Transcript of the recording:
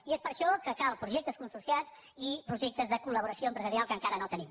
i és per això que calen projectes consorciats i projectes de col·laboració empresarial que encara no tenim